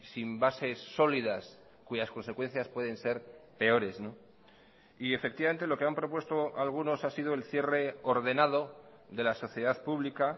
sin bases sólidas cuyas consecuencias pueden ser peores y efectivamente lo que han propuesto algunos ha sido el cierre ordenado de la sociedad pública